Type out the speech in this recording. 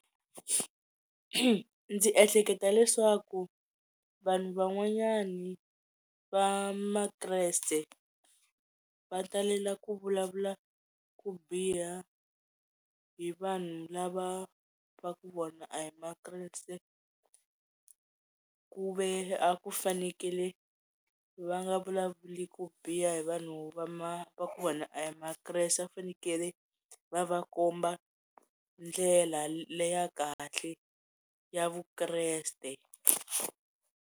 Ndzi ehleketa leswaku vanhu van'wanyani va Makreste va talela ku vulavula ku biha hi vanhu lava va ku vona a hi Makreste ku ve a ku fanekele va nga vulavuli ku biha hi vanhu va va ku vona a hi Makreste a fanekele va va komba ndlela leya kahle ya Vukreste.